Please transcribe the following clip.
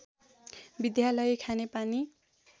विद्यालय खानेपानी